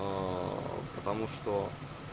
потому что